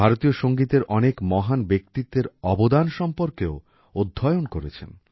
ভারতীয় সঙ্গীতের অনেক মহান ব্যক্তিত্বের অবদান সম্পর্কেও অধ্যয়ন করেছেন